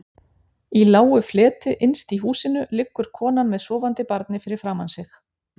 Í lágu fleti innst inni í húsinu liggur konan með sofandi barnið fyrir framan sig.